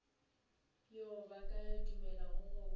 yo a ka dumelago go